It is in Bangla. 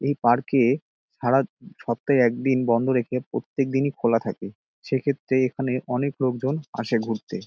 এই পার্ক -এ সারা সপ্তাহে একদিন বন্ধ রেখে প্রত্যেক দিনই খোলা থাকেসেক্ষেত্রে এখানে অনেক লোকজন আসে ঘুরতে |